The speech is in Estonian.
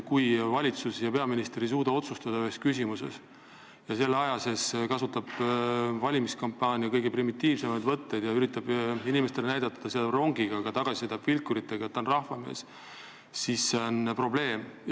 Kui valitsus ja peaminister ei suuda ühes küsimuses otsustada ja selle aja sees kasutab peaminister valimiskampaanias kõige primitiivsemaid võtteid ja üritab inimestele näidata, et sõidab rongiga , et ta on rahvamees, siis see on probleem.